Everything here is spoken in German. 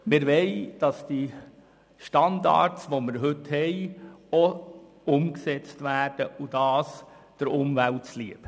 Wir wollen, dass die heutigen Standards auch umgesetzt werden und dies der Umwelt zuliebe.